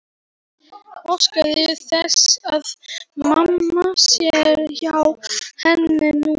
Óskar þess að mamma sé hjá henni núna.